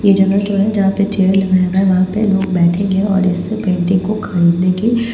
ये जगह जो है जहाँ पे चेयर लगाया हुआ है वहाँ पे लोग बैठेंगे और इस अ पेंटिंग को खरीदने के --